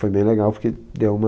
Foi bem legal porque deu uma...